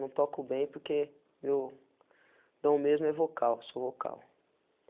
Não toco bem porque meu... dom mesmo é vocal, sou vocal.